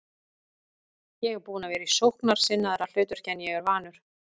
Ég er búinn að vera í sóknarsinnaðra hlutverki en ég er vanur.